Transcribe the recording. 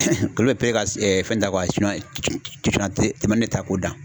Olu bɛ fɛn ta k'o da.